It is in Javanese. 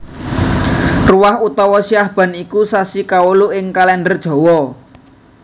Ruwah utawa Sya ban iku sasi kawolu ing Kalèndher Jawa